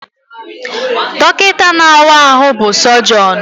Dọkịta na-awa ahụ bụ Sọjọnụ